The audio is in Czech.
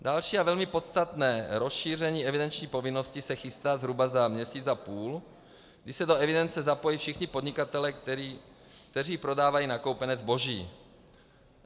Další a velmi podstatné rozšíření evidenční povinnosti se chystá zhruba za měsíc a půl, kdy se do evidence zapojí všichni podnikatelé, kteří prodávají nakoupené zboží.